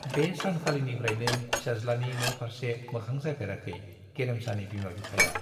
बे सानखालिनिफ्रायनो फिसाज्लानि न' फार्से मोखां जाफेराखै गेरेमसानि बिमा बिफाया।